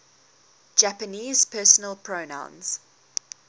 japanese personal pronouns